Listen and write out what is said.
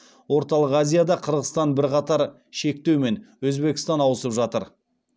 орталық азияда қырғызстан бірқатар шектеумен өзбекстан ауысып жатыр